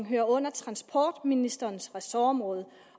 hører under transportministerens ressortområde